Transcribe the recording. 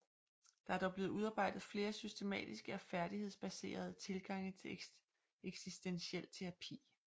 Der er dog blevet udarbejdet flere systematiske og færdighedsbaserede tilgange til eksistentiel terapi